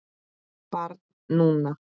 Barn núna.